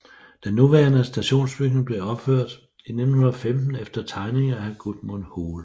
Den nuværende stationsbygning blev opført i 1915 efter tegninger af Gudmund Hoel